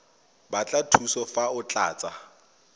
batla thuso fa o tlatsa